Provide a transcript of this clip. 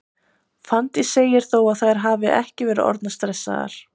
Fanndís segir þó að þær hafi ekki verið orðnar stressaðar.